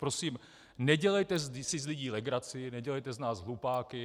Prosím, nedělejte si z lidí legraci, nedělejte z nás hlupáky.